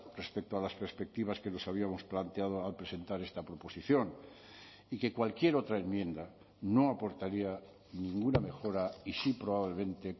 respecto a las perspectivas que nos habíamos planteado al presentar esta proposición y que cualquier otra enmienda no aportaría ninguna mejora y sí probablemente